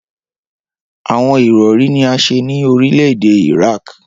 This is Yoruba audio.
Awọn irọri ni a ṣe ni orilẹ-ede Iraq.